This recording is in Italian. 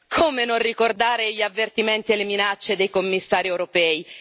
Come non ricordare gli avvertimenti e le minacce dei Commissari europei?